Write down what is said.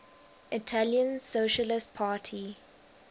italian socialist party